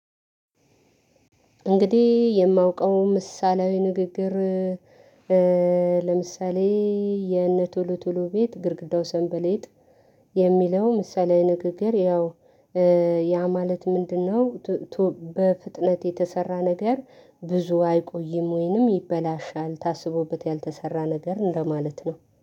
እንግዲህ የማውቀው ምሳሌያዊ ንግግር ኧኧ ለምሳሌ የእነቶሎ ቶሎ ቤት ግርግዳው ሰንበሌጥ የሚለው ምሳሌያዊ ንግግር ያው ኧ ያ ማለት ምንድነው? ቱ ቶ በፍጥነት የተሰራ ነገር ብዙ አይቆይም ወይንም ይበላሻል ታስቦበት ያልተሰራ ነገር እንደማለት ነው